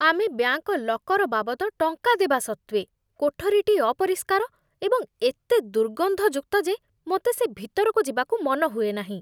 ଆମେ bank locker ବାବଦ ଟଙ୍କା ଦେବା ସତ୍ତ୍ୱେ, କୋଠରୀଟି ଅପରିଷ୍କାର ଏବଂ ଏତେ ଦୁର୍ଗନ୍ଧଯୁକ୍ତ ଯେ ମୋତେ ସେ ଭିତରକୁ ଯିବାକୁ ମନ ହୁଏନାହିଁ।